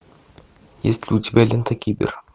есть ли у тебя лента кибер